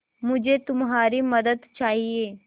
मुझे तुम्हारी मदद चाहिये